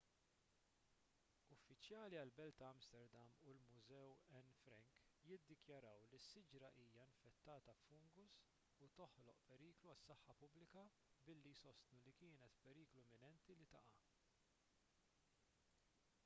uffiċjali għall-belt ta' amsterdam u l-mużew anne frank jiddikjaraw li s-siġra hija infettata b'fungus u toħloq periklu għas-saħħa pubblika billi jsostnu li kienet f'periklu imminenti li taqa'